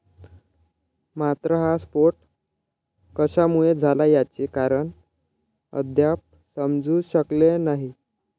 मात्र हा स्फोट कशामुळे झाला याचे कारण अद्याप समजू शकलेले नाही